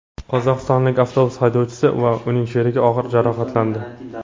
Qozog‘istonlik avtobus haydovchisi va uning sherigi og‘ir jarohatlandi.